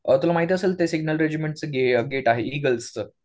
अ तुला माहित असेल ते सिग्नल रेजिमेंटचं गेट आहे. इगल्सचं